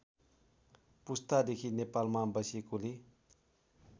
पुस्तादेखि नेपालमा बसेकोले